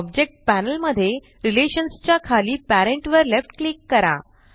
object panel मध्ये relations च्या खाली पॅरेंट वर लेफ्ट क्लिक करा